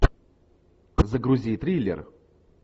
загрузи триллер